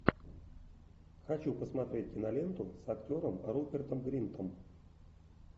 хочу посмотреть киноленту с актером рупертом гринтом